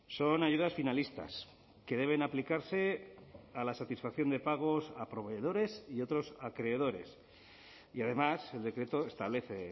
son ayudas finalistas que deben aplicarse a la satisfacción de pagos a proveedores y otros acreedores y además el decreto establece